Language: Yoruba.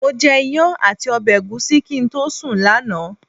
Mo jẹ iyán àti ọbẹ̀ ẹ̀gúsí kí n tó sùn lánàá.